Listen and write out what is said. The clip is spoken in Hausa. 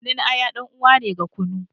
Kunun aya dan uwa ne ga kunu.